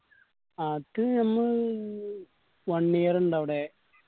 അത് എന്ന് one year ഇണ്ട് അവിടെ